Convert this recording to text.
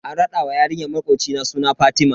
An rada wa yarinyar makocina suna Fatima.